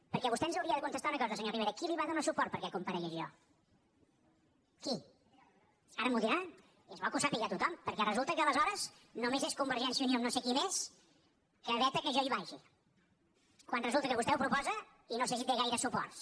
perquè vostè ens hauria de contestar una cosa senyor rivera qui li va donar suport perquè comparegués jo qui ara m’ho dirà i és bo que ho sàpiga tothom perquè resulta que aleshores només és convergència i unió amb no sé qui més que veta que jo hi vagi quan resulta que vostè ho proposa i no sé si té gaires suports